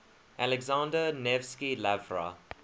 alexander nevsky lavra